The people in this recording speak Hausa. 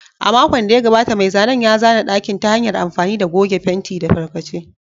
A makon da ya gabata, mai zanen ya zana ɗakin ta hanyar amfani da goge fenti da tarkace.